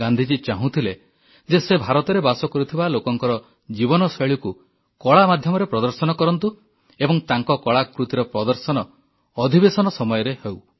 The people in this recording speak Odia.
ଗାନ୍ଧୀଜୀ ଚାହୁଁଥିଲେ ଯେ ସେ ଭାରତରେ ବାସ କରୁଥିବା ଲୋକଙ୍କ ଜୀବନଶୈଳୀକୁ କଳା ମାଧ୍ୟମରେ ପ୍ରଦର୍ଶନ କରନ୍ତୁ ଏବଂ ତାଙ୍କ କଳାକୃତ୍ତିର ପ୍ରଦର୍ଶନ ଅଧିବେଶନ ସମୟରେ ହେଉ